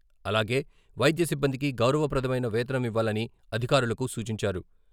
అలాగే వైద్య సిబ్బందికి గౌరవ ప్రదమైన వేతనం ఇవ్వాలని అధికారులకు సూచించారు.